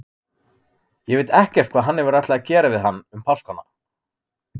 Ég veit ekkert hvað hann hefur ætlað að gera við hann um páskana.